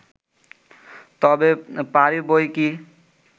তবে পারি বইকি